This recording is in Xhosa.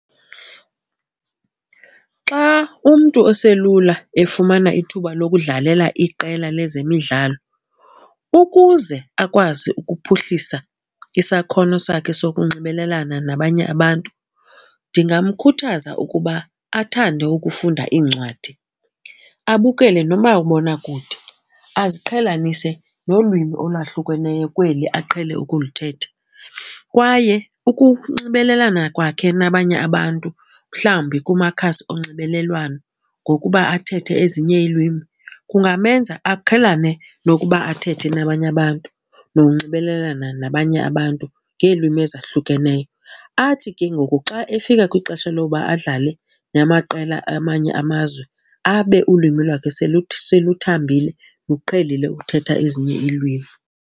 Xa umntu oselula efumana ithuba lokudlalela iqela lezemidlalo ukuze akwazi ukuphuhlisa isakhono sakhe sokunxibelelana nabanye abantu ndingamkhuthaza ukuba athande ukufunda iincwadi, abukele nomabonakude, aziqhelanise nolwimi olwahlukeneyo kweli aqhele ukulithetha. Kwaye ukunxibelelana kwakhe nabanye abantu, mhlawumbi kumakhasi onxibelelwano, ngokuba athethe ezinye ilwimi kungamenza aqhelane nokuba athethe nabanye abantu nokunxibelelana nabanye abantu ngeelwimi ezahlukeneyo. Athi ke ngoku xa efika kwixesha lokuba adlale namaqela amanye amazwe abe ulwimi lwakhe seluthambile, luqhelile uthetha ezinye iilwimi.